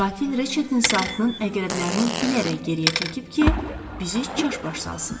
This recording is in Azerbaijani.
Qatil Reçetin saatının əqrəblərini bilərək geriyə çəkib ki, bizi çaşbaş salsın.